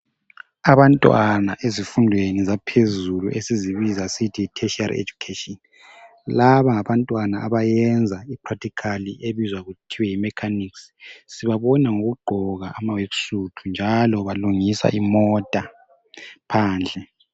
abantwana ezifundweni zaphezulu esizibiza sisithi yi tertiary education laba ngabantwana abayenza i practical ebizwa kuthiwe yi mechanics sibvabona ngokugqoka ama worksuit njalo balungisa imota phandle